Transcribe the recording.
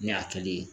Ne y'a kɛli ye